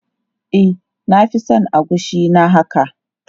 E, na fi son agushi na haka.